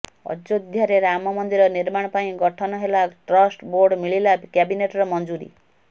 ଅଯୋଧ୍ୟାରେ ରାମ ମନ୍ଦିର ନିର୍ମାଣ ପାଇଁ ଗଠନ ହେଲା ଟ୍ରଷ୍ଟ ବୋର୍ଡ ମିଳିଲା କ୍ୟାବିନେଟର ମଞ୍ଜୁରୀ